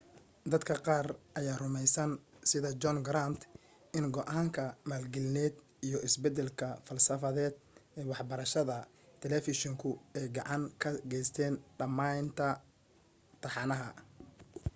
dadka qaar ayaa rumaysan sida john grant in go'aanka maalgelineed iyo isbeddelka falsafadeed ee waxbarashada talafeeshinku ay gacan ka geysteen dhammaynta taxanaha